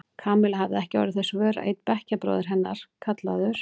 Kamilla hafði ekki orðið þess vör að einn bekkjarbróðir hennar, kallaður